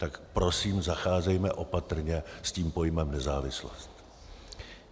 Tak prosím zacházejme opatrně s tím pojmem nezávislost.